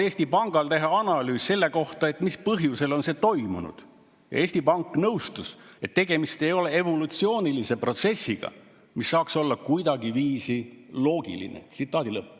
Eesti Pank [vastas, et möödunud on liiga vähe aega selleks, et põhjus-tagajärg analüüse saaks teha, aga nad nõustusid,] et tegemist ei ole evolutsioonilise protsessiga, mis saaks olla kuidagiviisi loogiline.